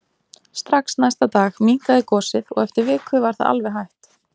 Strax næsta dag minnkaði gosið og eftir viku var það alveg hætt.